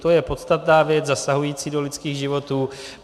To je podstatná věc zasahující do lidských životů.